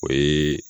O ye